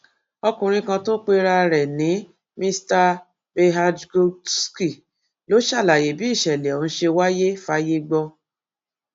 ọkùnrin kan tó pera ẹ ní mr bhagdoosky ló ṣàlàyé bí ìṣẹlẹ ọhún ṣe wáyé fáyé gbọ